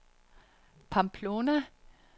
Pamplona